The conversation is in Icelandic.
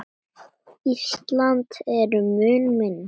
Ísland er mun minna.